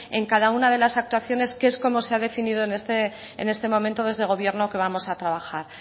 en cada una de las actuaciones que es como se ha definido en este momento desde el gobierno que vamos a trabajar